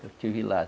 Eu estive lá.